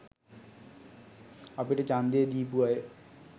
අපිට ඡන්දය දීපු අය